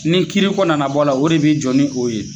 Ni kiiriko nana bɔ a la, o de bi jɔ ni o ye.